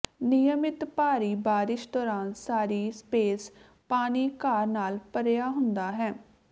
ਨਿਯਮਿਤ ਭਾਰੀ ਬਾਰਸ਼ ਦੌਰਾਨ ਸਾਰੀ ਸਪੇਸ ਪਾਣੀ ਘਾਹ ਨਾਲ ਭਰਿਆ ਹੁੰਦਾ ਹੈ